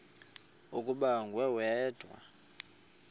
ukuba nguwe wedwa